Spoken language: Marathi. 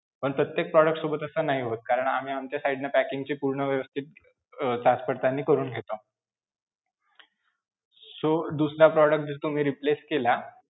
पण प्रत्येक product सोबत नाही होत कारण आम्ही आमच्या side न packing ची पूर्ण व्यवस्थित अं जाचपडताळणी करून घेतो. so दुसरा product जर तुम्ही replace केला,